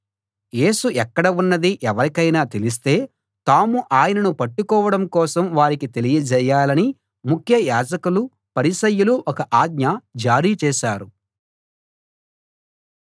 యేసు ఎక్కడ ఉన్నది ఎవరికైనా తెలిస్తే తాము ఆయనను పట్టుకోవడం కోసం వారికి తెలియజేయాలని ముఖ్య యాజకులు పరిసయ్యులు ఒక ఆజ్ఞ జారీ చేశారు